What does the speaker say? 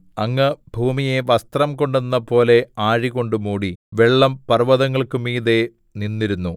അങ്ങ് ഭൂമിയെ വസ്ത്രംകൊണ്ടെന്നപോലെ ആഴികൊണ്ടു മൂടി വെള്ളം പർവ്വതങ്ങൾക്കു മീതെ നിന്നിരുന്നു